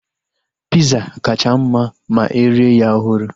Piza kacha mma ma erie ya ọhụrụ